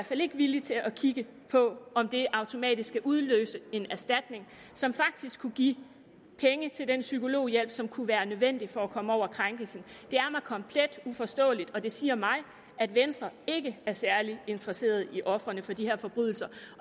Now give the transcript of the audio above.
fald ikke villig til at kigge på om det automatisk skal udløse en erstatning som faktisk kunne give penge til den psykologhjælp som kunne være nødvendig for at komme over krænkelsen det er mig komplet uforståeligt og det siger mig at venstre ikke er særlig interesseret i ofrene for de her forbrydelser